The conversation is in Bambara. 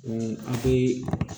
a tɛ